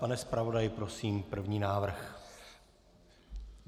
Pane zpravodaji, prosím, první návrh.